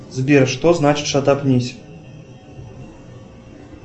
сбер что значит шатапнись